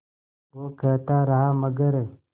वो कहता रहा मगर